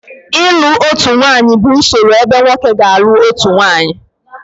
ịlụ otu nwanyị bụ usoro ebe nwoke ga-alụ otu nwunye